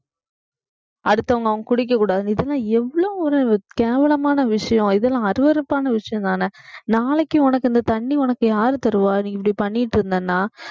அடுத்தவங்க அவங்க குடிக்கக்கூடாது இதெல்லாம் எவ்வளவு ஒரு கேவலமான விஷயம் இதெல்லாம் அருவருப்பான விஷயம் தானே நாளைக்கு உனக்கு இந்த தண்ணி உனக்கு யார் தருவா நீ இப்படி பண்ணிட்டு இருந்தேன்னா